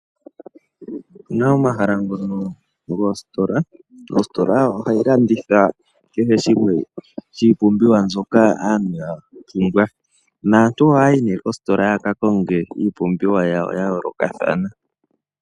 Opu na omahala ngono goositola. Ositola ohayi landitha kehe shimwe shiipumbiwa mbyoka aantu ya pumbwa. Naantu ohaya yi nee koositola yaka konge iipumbiwa yawo ya yoolokathana.